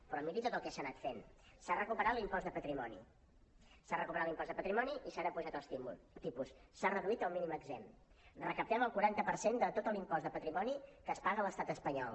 però miri tot el que s’ha anat fent s’ha recuperat l’impost de patrimoni s’ha recuperat l’impost de patrimoni i s’han apujat els tipus s’ha reduït el mínim exempt recaptem el quaranta per cent de tot l’impost de patrimoni que es paga a l’estat espanyol